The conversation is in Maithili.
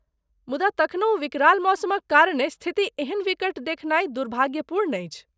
मुदा तखनहु विकराल मौसमक कारणे स्थिति एहन विकट देखनाइ दुर्भाग्यपूर्ण अछि।